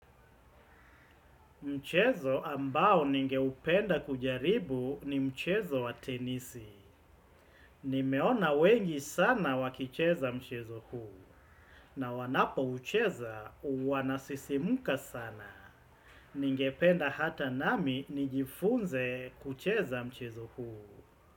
Mchezo ambao ningeupenda kujaribu ni mchezo wa tenisi. Nimeona wengi sana wakicheza mchezo huu. Na wanaupocheza wanasisimka sana ningependa hata nami nijifunze kucheza mchezo huu.